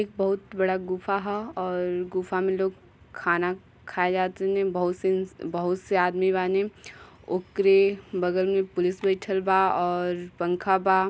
एक बहुत बडा गुफा ह और गुफा में लोग खाना खाए जा तनी बहुत सीन्स बहुत से आदमी बानी। ओकरे बगल में पुलिस बईठल बा और पंखा बा।